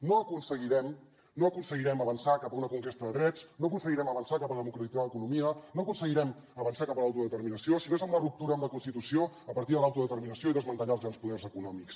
no aconseguirem avançar cap a una conquesta de drets no aconseguirem avançar cap a democratitzar l’economia no aconseguirem avançar cap a l’autodeterminació si no és amb la ruptura amb la constitució a partir de l’autodeterminació i desmantellant els grans poders econòmics